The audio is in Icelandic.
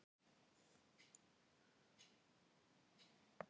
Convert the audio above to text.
Hvar er taskan þín? Hún er á borðinu.